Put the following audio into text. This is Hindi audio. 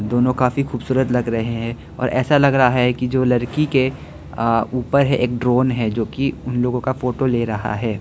दोनों काफी खूबसूरत लग रहे हैं और ऐसा लग रहा है कि जो लड़की के अह ऊपर एक ड्रोन है जो कि उन लोगों का फोटो ले रहा है।